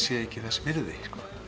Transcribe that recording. sé ekki þess virði